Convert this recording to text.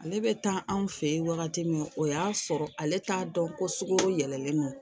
Ale bɛ taa anw fɛ yen wagati min o y'a sɔrɔ ale t'a dɔn ko sogo yɛlɛlen don